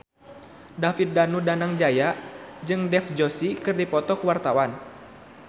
David Danu Danangjaya jeung Dev Joshi keur dipoto ku wartawan